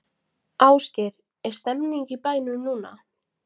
Ásgeir, er stemning í bænum núna?